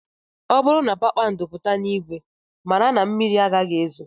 Ọ bụrụ na kpakpando pụta n'ìgwè, mara na mmiri agaghị ezo